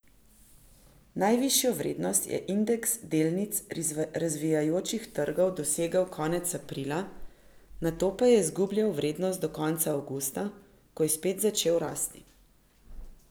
Najvišjo vrednost je indeks delnic razvijajočih trgov dosegel konec aprila, nato pa je izgubljal vrednost do konca avgusta, ko je spet začel rasti.